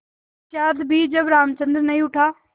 पश्चार भी जब रामचंद्र नहीं उठा